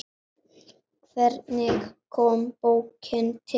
Hvernig kom bókin til?